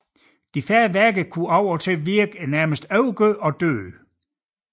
De færdige værker kunne af og til virke overgjorte og døde